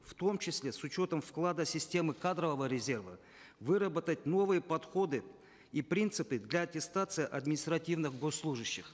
в том числе с учетом вклада системы кадрового резерва выработать новые подходы и принципы для аттестации административных госслужащих